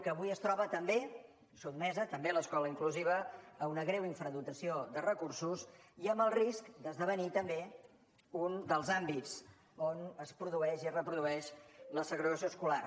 que avui es troba també sotmesa també l’escola inclusiva a una greu infradotació de recursos i amb el risc d’esdevenir també un dels àmbits on es produeix i reprodueix la segregació escolar